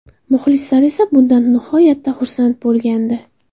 Muxlislar esa bundan nihoyatda xursand bo‘lgandi.